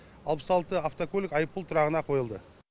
алпыс алты автокөлік айыппұл тұрағына қойылды